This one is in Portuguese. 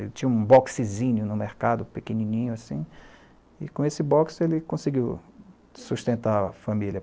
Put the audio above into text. Ele tinha um boxezinho no mercado, pequenininho assim, e com esse box ele conseguiu sustentar a família.